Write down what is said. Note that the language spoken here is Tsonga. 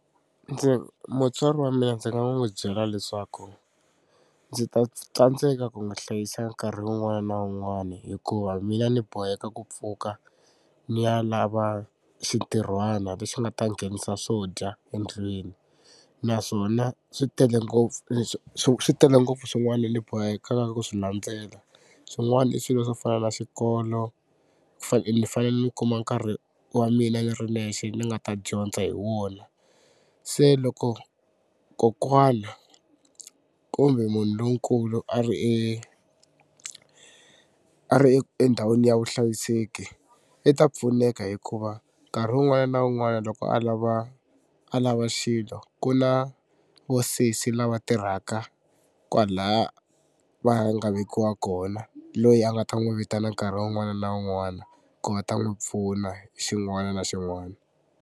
Ndzi mutswari wa mina ndzi nga n'wi byela leswaku ndzi ta tsandzeka ku n'wi hlayisa nkarhi wun'wani na wun'wani hikuva mina ni boheka ku pfuka ni ya lava xintirhwana lexi nga ta nghenisa swo dya endlwini naswona swi tele ngopfu swi tele ngopfu swin'wana ni bohekaka ku swi landzela. Swin'wana i swilo swo fana na xikolo ni fane ni kuma nkarhi wa mina ni ri nexe ni nga ta dyondza hi wona. Se loko kokwana kumbe munhu lonkulu a ri e a ri endhawini ya vuhlayiseki i ta pfuneka hikuva nkarhi wun'wani na wun'wani loko a lava a lava xilo ku na vo sesi lava tirhaka kwalaya va nga vekiwa kona loyi a nga ta n'wi vitana nkarhi un'wana na un'wana ku va ta n'wi pfuna xin'wana na xin'wana.